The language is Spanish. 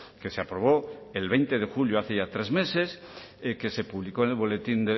que se aprobó el veinte de julio hace ya tres meses que se publicó en el boletín